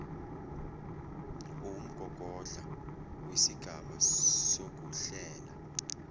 uwumgogodla wesigaba sokuhlela